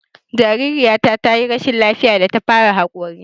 Jariraya ta yi rashin lafiya da ta fara haƙori